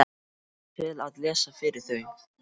Bara til að lesa fyrir þau.